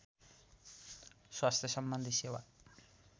स्वास्थ्यसम्बन्धी सेवा